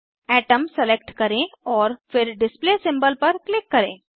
atom select करें और फिर डिस्प्ले सिंबल पर क्लिक करें